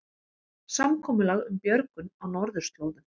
Samkomulag um björgun á norðurslóðum